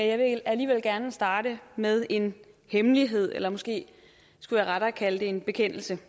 jeg vil alligevel gerne starte med at en hemmelighed eller måske skulle jeg rettere kalde det en bekendelse